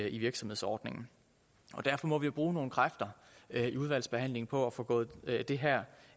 i virksomhedsordningen derfor må vi jo bruge nogle kræfter i udvalgsbehandlingen på at få gået det her